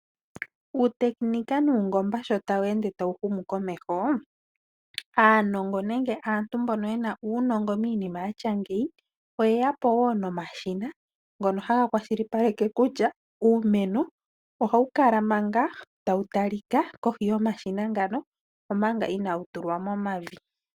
Uutekenika nuungomba sho tawu ende tawu humu komeho, aanongo nenge aantu mbono yena uunongo miinima yatya ngeyi oye ya po wo nomashina ngono haga kwashilipaleke kutya uumeno ohawu kala manga tawu talika kohi yomashina ngano, omanga inaa wu tulwa momavi.